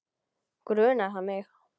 Grunar hann mig?